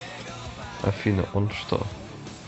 афина он что